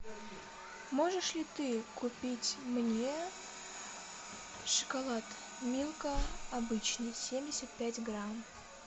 можешь ли ты купить мне шоколад милка обычный семьдесят пять грамм